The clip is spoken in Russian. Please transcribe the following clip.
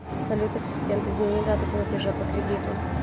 салют ассистент измени дату платежа по кредиту